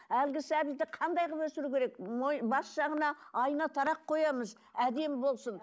әлгі сәбиді қандай қылып өсіру керек бас жағына айна тарақ қоямыз әдемі болсын